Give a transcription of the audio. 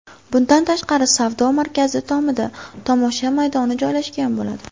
Bundan tashqari, savdo markazi tomida tomosha maydoni joylashgan bo‘ladi.